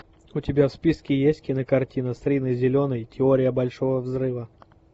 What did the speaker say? у тебя в списке есть кинокартина с риной зеленой теория большого взрыва